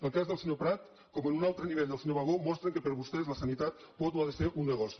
el cas del senyor prat com en un altre nivell el del senyor bagó mostren que per a vostès la sanitat pot o ha de ser un negoci